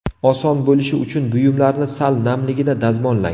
Oson bo‘lishi uchun buyumlarni sal namligida dazmollang.